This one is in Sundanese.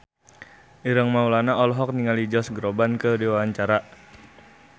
Ireng Maulana olohok ningali Josh Groban keur diwawancara